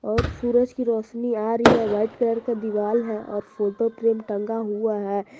और सूरज की रोशनी आ रही है वाइट कलर का दीवाल है और फोटो फ्रेम टंगा हुआ है।